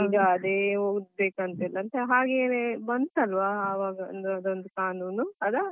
ಈಗ ಅದೇ ಬಂತಲ್ವಾ ಅವರದೊಂದು ಕಾನೂನು ಅಲಾ.